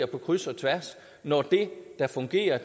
på kryds og tværs når det der fungerer